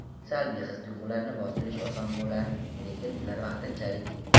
Salbiy his-tuyg‘ularni bostirish oson bo‘lar, lekin ular vaqtinchalik.